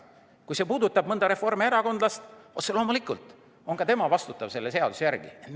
Kui see puudutab mõnda reformierakondlast, siis otse loomulikult on ka tema selle seaduse järgi vastutav.